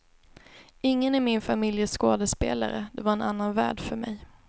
Ingen i min familj är skådespelare, det var en annan värld för mig.